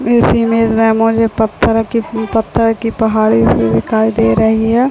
इस इमेज में मुझे पत्थर की पत्थर की पहाड़ी दिखाई दे रही है।